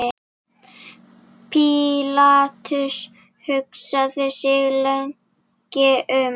Pílatus hugsaði sig lengi um.